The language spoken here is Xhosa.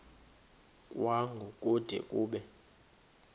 kwango kude kube